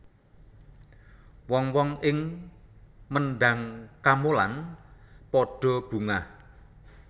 Wong wong ing Mendhang Kamolan padha bungah